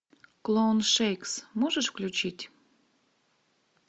клоун шейкс можешь включить